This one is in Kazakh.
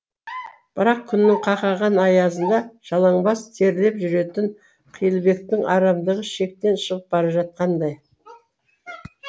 бірақ күннің қақаған аязында жалаңбас терлеп жүретін қилыбектің арамдығы шектен шығып бара жатқандай